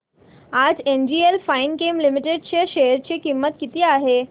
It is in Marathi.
आज एनजीएल फाइनकेम लिमिटेड च्या शेअर ची किंमत किती आहे